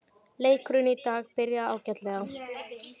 Leikurinn í dag byrjaði ágætlega.